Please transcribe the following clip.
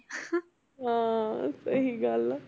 ਹਾਂ ਸਹੀ ਗੱਲ ਹੈ।